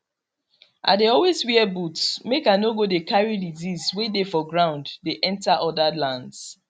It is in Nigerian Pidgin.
i dey always wear boots make i no go dey carry disease way dey for ground dey enter other lands